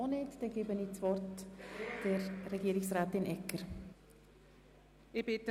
Somit erteile ich Regierungsrätin Barbara Egger das Wort.